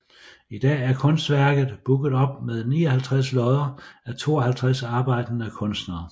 I dag er Kunstværket booket op med 59 lodder af 52 arbejdende kunstnere